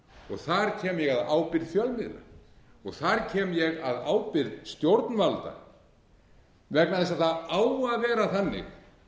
og þar kem ég að ábyrgð fjölmiðla og þar kem ég að ábyrgð stjórnvalda vegna þess að það á að vera þannig